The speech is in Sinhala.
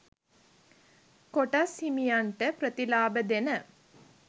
කොටස් හිමියන්ට ප්‍රතිලාභ දෙන